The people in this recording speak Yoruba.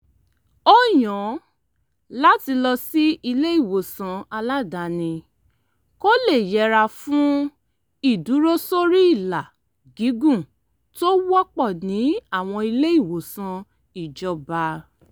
ó yàn láti lọ sí ilé-ìwòsàn aládàáni kó lè yẹra fún ìdúrósóríìlà gígùn tó wọ́pọ̀ ní àwọn ilé-ìwòsàn ìjọba